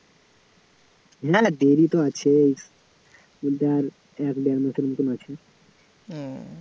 না না দেরী তো আছেই, কিন্তু আর এক দেড় মাসের মতোন আছে